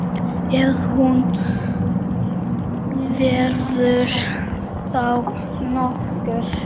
Ef hún verður þá nokkur.